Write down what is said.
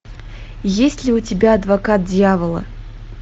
есть ли у тебя адвокат дьявола